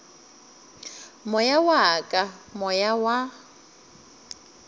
moya wa ka moya wa